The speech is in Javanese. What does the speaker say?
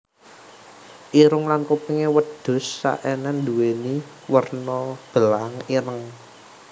Irung lan kupingé wedhus Saenen nduwéni werna belang ireng